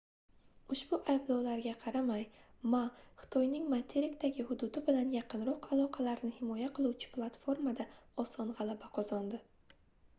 ushbu ayblovlarga qaramay ma xitoyning materikdagi hududi bilan yaqinroq aloqalarni himoya qiluvchi platformada oson gʻalaba qozondi